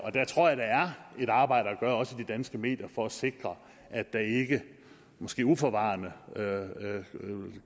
et arbejde at gøre også i de danske medier for at sikre at der ikke måske uforvarende